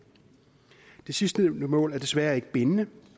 sidstnævnte mål er desværre ikke bindende